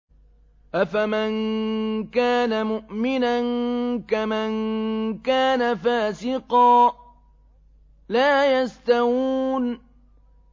أَفَمَن كَانَ مُؤْمِنًا كَمَن كَانَ فَاسِقًا ۚ لَّا يَسْتَوُونَ